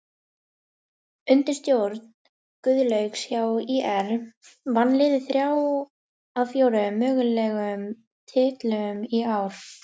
Undir stjórn Guðlaugs hjá ÍR vann liðið þrjá af fjóra mögulegum titlum í ár.